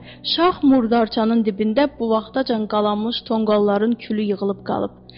Yekə şax murdarçanın dibində bu vaxtacan qalanmış tonqalların külü yığılıb qalıb.